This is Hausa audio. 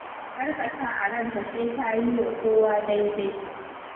Kar ka sa a ranka sai ka yi wa kowa daidai.